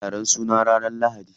Za'a yi taron suna ranar lahadi.